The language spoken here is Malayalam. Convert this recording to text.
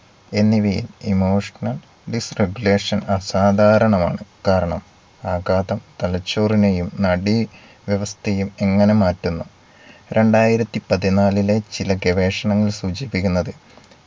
എന്നിവയിൽ Emotional disregulation അസാധാരണമാണ്. കാരണം ആഘാതം തലച്ചോറിനെയും നാഡീവ്യവസ്ഥയെയും എങ്ങനെ മാറ്റുന്നു. രണ്ടായിരത്തി പതിനാലിലെ ചില ഗവേഷണങ്ങൾ സൂചിപ്പിക്കുന്നത്